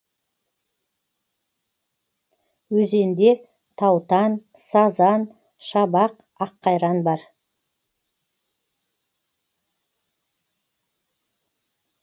өзенде таутан сазан шабақ аққайран бар